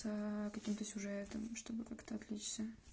каким-то сюжетам чтобы как-то отвлечься